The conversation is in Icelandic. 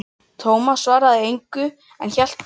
Tómas svaraði þessu engu, en hélt beint áfram